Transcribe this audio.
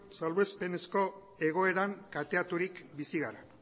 salbuespenezko egoeran kateaturik bizi gara